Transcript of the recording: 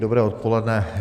Dobré odpoledne.